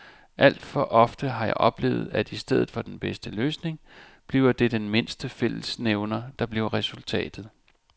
Alt for ofte har jeg oplevet, at i stedet for den bedste løsning bliver det den mindste fællesnævner, der bliver resultatet.